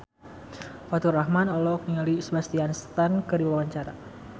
Faturrahman olohok ningali Sebastian Stan keur diwawancara